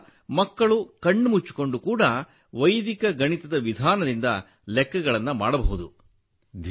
ಇದರಿಂದ ಮಕ್ಕಳು ಕಣ್ಣು ಮುಚ್ಚಿಕೊಂಡು ಕೂಡ ವೈದಿಕ ಗಣಿತದ ವಿಧಾನದಿಂದ ಲೆಕ್ಕಗಳನ್ನು ಮಾಡಬಹುದು